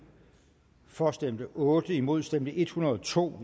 for stemte otte imod stemte en hundrede og to